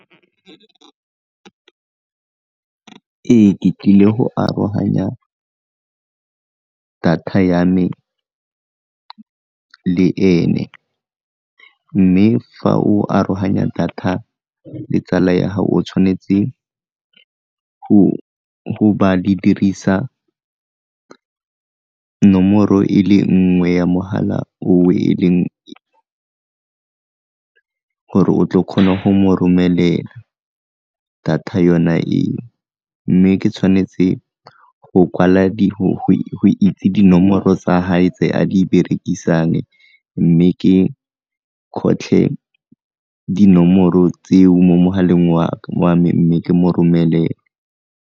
Ee, ke tlile go aroganya data ya me le ene, mme fa o aroganya data le tsala ya gao o tshwanetse go ba le dirisa nomoro e le nngwe ya mogala gore o tle o kgone go mo romelela data yona e, mme ke tshwanetse go kwala go itse dinomoro tsa gae tse a di berekisang mme ke kgotlhe dinomoro tseo mo mogaleng wa me mme ke mo romele.